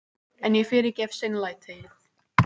En ég fyrirgef seinlætið.